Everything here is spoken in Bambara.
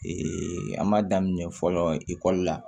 an m'a daminɛ fɔlɔ ekɔli la